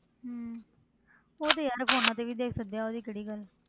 ਹੁੰ ਤੈਨੂੰ ਪਤਾ ਉਹ ਤੇ phones ਤੇ ਵੀ ਦੇਖ